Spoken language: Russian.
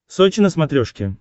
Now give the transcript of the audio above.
сочи на смотрешке